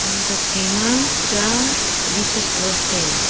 hom tokphai ma cha jesus cross taiga.